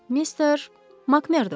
Mister Makmerdo.